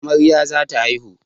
Amarya za ta haihu.